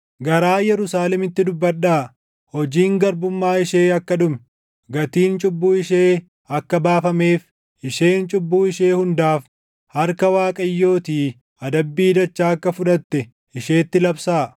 Garaa Yerusaalemitti dubbadhaa; hojiin garbummaa ishee akka dhume, gatiin cubbuu ishee akka baafameef, isheen cubbuu ishee hundaaf harka Waaqayyootii adabbii dachaa akka fudhatte isheetti labsaa.